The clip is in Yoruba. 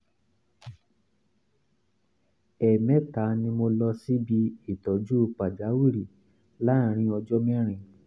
ẹ̀ẹ̀mẹta ni mo lọ síbi ìtọ́jú pàjáwìrì láàárín ọjọ́ mẹ́rin